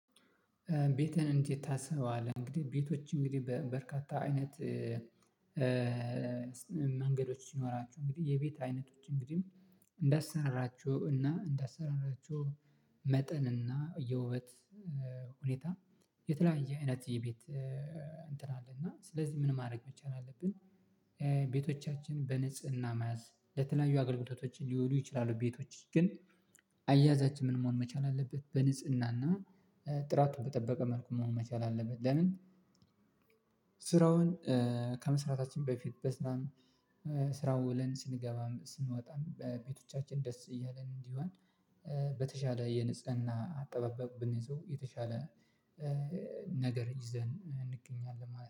ቤትህን እንዴት ታስበዋለህ እንግዲህ ቤቶች እንግዲህ በበርካታ አይነት መንገዶች ሲኖራቸው እንግዲህ የቤት አይነቶች እንግዲህ እንዳሰራራቸው እና እንዳሰራራቸው መጠን እና የውበት ሁኔታ የተለያየ አይነት የቤት እንትን አለ እና ስለዚህ ምን ማድረግ መቻል አለብን ቤቶቻችን በንጽህና መያዝ ለተለያዩ አገልግሎቶችን ሊውሉ ይችላሉ ቤቶች ግን አያያዛችን ምን መሆን መቻል አለበት በንጽህና እና ጥራቱን በጠበቀ መልኩ መሆን መቻል አለበት ለንን ስራውን ከመስራታችን በፊት በስራ ውለን ስንገባም፣ ስንወጣም በቤቶቻችን ደስ እያልን እንዲሆን በተሻለ የንጽህና አጠባብብ ብንይዘው የተሻለ ነገር ይዘን እንገኛለን ማለት ነው።